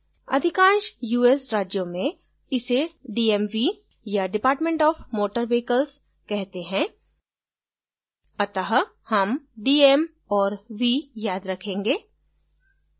अधिकांश us राज्यों में इसे dmv या department of motor vehicles कहते हैं अत: हम d m और v याद रखेंगे